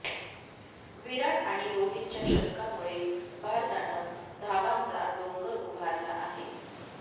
विराट आणि रोहितच्या शतकामुळे भारतानं धावांचा डोंगर उभारला आहे